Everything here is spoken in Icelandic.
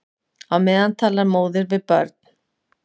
Á meðan talar móðir við börn.